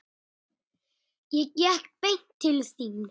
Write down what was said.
Ég gekk beint til þín.